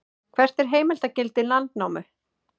hvert er heimildargildi landnámu